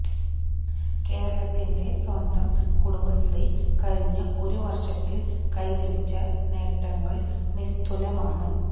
കേരളത്തിന്റെ സ്വന്തം കുടുംബശ്രീ കഴിഞ്ഞ ഒരു വര്ഷത്തില് കൈവരിച്ച നേട്ടങ്ങള് നിസ്തുലമാണ്